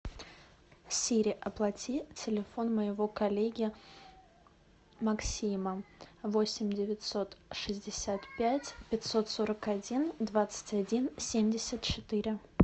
сири оплати телефон моего коллеги максима восемь девятьсот шестьдесят пять пятьсот сорок один двадцать один семьдесят четыре